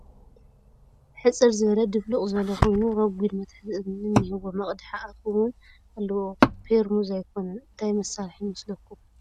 ሕፅር ዝበለ ድፍሉቕ ዝበለ .ኾይኑ ሮጊድ መትሓዚ እዝኒ እንሄዎ መቕድሒ ኣፍ ' ውን ኣለዎ ፖርሙዝ ኣይኮነን እንታይ መስርሒ ይመስለኩም ?